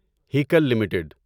Hikal limited